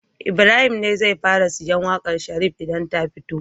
Ibrahim ne zai fara sayen waƙar Sharif idan ta fito